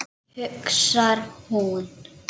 hugsar hún.